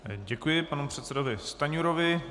Děkuji panu předsedovi Stanjurovi.